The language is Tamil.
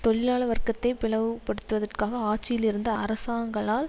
தொழிலாள வர்க்கத்தை பிளவுபடுத்துவதற்காக ஆட்சியில் இருந்த அரசாங்களால்